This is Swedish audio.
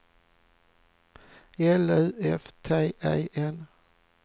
L U F T E N